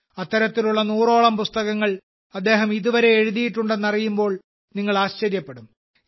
അത്തരത്തിലുള്ള നൂറോളം പുസ്തകങ്ങൾ അദ്ദേഹം ഇതുവരെ എഴുതിയിട്ടുണ്ടെന്നറിയുമ്പോൾ നിങ്ങൾ ആശ്ചര്യപ്പെടും